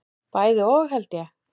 Bæði og held ég.